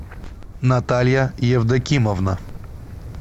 наталья евдокимовна